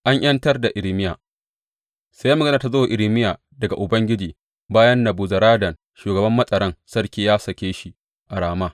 An ’yantar da Irmiya Sai magana ta zo wa Irmiya daga Ubangiji bayan Nebuzaradan shugaban matsaran sarki ya sake shi a Rama.